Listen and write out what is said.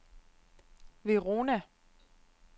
Verona